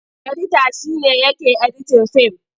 Edita shi ne yake editin fim.